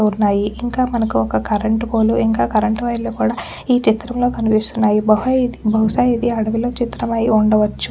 ఉన్నయి ఇంక మనకు ఒక్క కరెంట్ పోల్ ఇంక కరెంటు వైర్ లు కూడా ఈ చిత్రం లో కనిపిస్తున్నాయి బహు బహుశ ఇది అడవిలో చిత్రం అయ్యుండచ్చు.